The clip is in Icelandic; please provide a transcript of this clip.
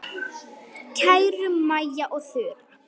Kæru Maja og Þura.